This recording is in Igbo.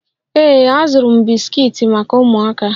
Ee azụrụ m bisikiiti maka ụmụaka